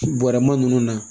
Bɔrɛma ninnu na